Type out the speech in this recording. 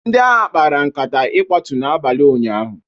ndị agha kpara nkata ịkwatu n'abalị ụnyaahụ